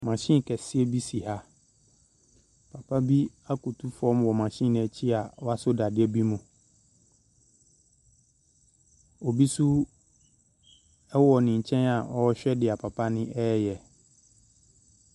Machine kɛseɛ bi si ha. Papa bi akoto fam wɔ machine no akyi a wasɔ dadeɛ bi mu. Obi nso wɔ ne nkyɛn a ɔrehwɛ deɛ papa no reyɛ.